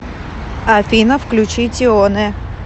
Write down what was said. афина включи тионе